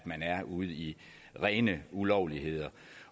ude i rene ulovligheder